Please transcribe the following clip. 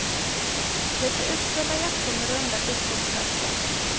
Lite utställda jackor med runda fickor på brösten.